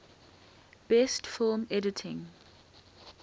best film editing